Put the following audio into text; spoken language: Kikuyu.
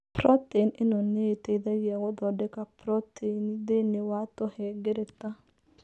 Protein ĩno nĩ ĩteithagia gũthondeka proteini thĩinĩ wa tũhengereta.